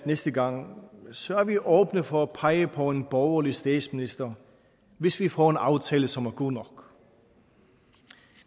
næste gang så er vi åbne for at pege på en borgerlig statsminister hvis vi får en aftale som er god nok